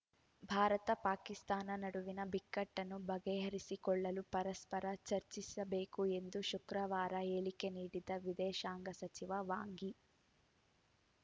ಭಾರತ ಪಾಕಿಸ್ತಾನ ನಡುವಿನ ಬಿಕ್ಕಟ್ಟನ್ನು ಬಗೆಹರಿಸಿಕೊಳ್ಳಲು ಪರಸ್ಪರ ಚರ್ಚಿಸಬೇಕು ಎಂದು ಶುಕ್ರವಾರ ಹೇಳಿಕೆ ನೀಡಿದ್ದ ವಿದೇಶಾಂಗ ಸಚಿವ ವಾಂಗ್ ಯಿ